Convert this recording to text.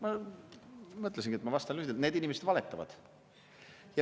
Ma mõtlesin, et ma vastan lühidalt: need inimesed valetavad.